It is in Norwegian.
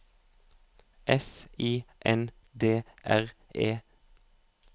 S I N D R E